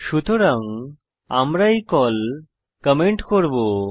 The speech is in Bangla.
সুতরাং আমরা এই কল কমেন্ট করব